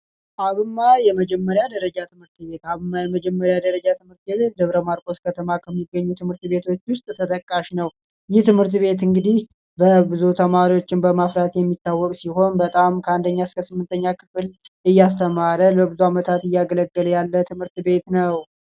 አብማ የመጀመሪያ ደረጃ ትምህርት ቤት! አብማ የመጀመሪ ደረጃ ትምህርት ቤት ደብረ ማርቆስ ከተማ ከሚገኙ ትምህር ቤቶች ውስጥ ተጠቃሽ ነው። ይህ ትምህር ቤት እንግዲህ ብዙ ተማሪዎችን በማፍራት የሚታወቅ ሲሆን በጣም ከአንደኛ እስከ ስምንተኛ ክፍል እያስተማረ ነው። በአመታት እያገለገለ ያለ ትምህርት ቤት ነው።